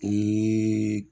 Ni